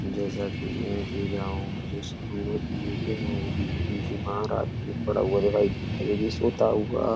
जैसा कि मैं देख रहा हूँ मेरे स्कूल में हैं जो कि बीमार आदमी पड़ा हुआ दिखाई दे रहा जो कि सोता हुआ --